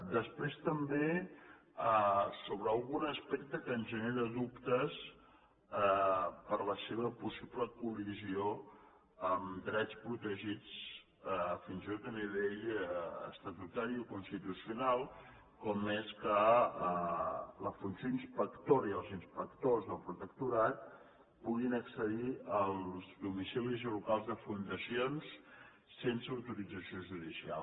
després també sobre algun aspecte que ens genera dubtes per la seva possible col·lisió amb drets protegits fins i tot a nivell estatutari o constitucional com és que la funció inspectora i els inspectors del protectorat puguin accedir als domicilis i locals de fundacions sense autorització judicial